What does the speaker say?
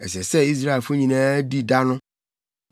Ɛsɛ sɛ Israelfo nyinaa di da no.